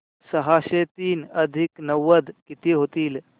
सहाशे तीन अधिक नव्वद किती होतील